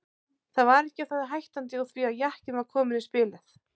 Það var ekki á það hættandi úr því að jakinn var kominn í spilið.